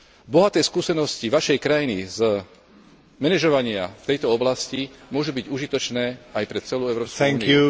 Bohaté skúsenosti Vašej krajiny z manažovania v tejto oblasti môžu byť užitočné aj pre celú Európsku úniu.